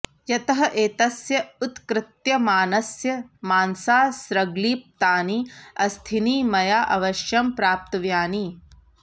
यतः एतस्य उक्तृत्यमानस्य मांसासृग्लिप्तानि अस्थीनि मया अवश्यं प्राप्तव्यानि